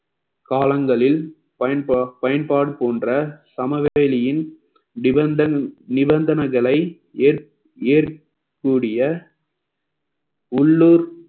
காலங்களில் பயன்பா~ பயன்பாடு போன்ற சமவெளியின் நிபந்தன்~ நிபந்தனைகளை ஏற்க்~ ஏற்கக்கூடிய உள்ளூர்